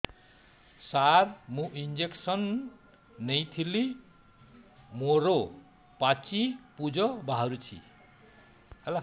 ସାର ମୁଁ ଇଂଜେକସନ ନେଇଥିଲି ମୋରୋ ପାଚି ପୂଜ ବାହାରୁଚି